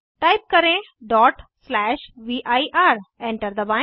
type करें vir enter दबाएं